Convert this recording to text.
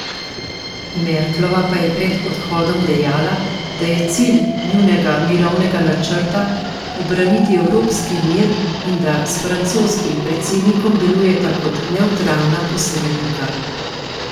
Merklova pa je pred odhodom dejala, da je cilj njunega mirovnega načrta obraniti evropski mir in da s francoskim predsednikom delujeta kot nevtralna posrednika.